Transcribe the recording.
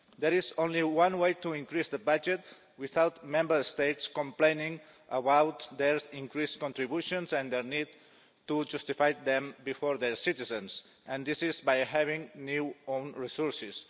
There is only one way to increase the budget without Member States complaining about their increased contributions and their need to justify them to their citizens, and this is by having new own resources.